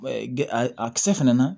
A kisɛ fɛnɛ na